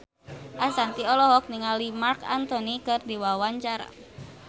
Ashanti olohok ningali Marc Anthony keur diwawancara